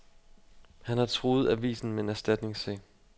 Han har truet avisen med en erstatningssag.